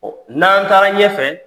Ɔ n'an taara ɲɛfɛ